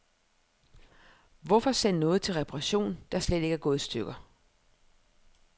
Hvorfor sende noget til reparation, der slet ikke er gået i stykker.